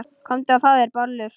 Komdu og fáðu þér bollur.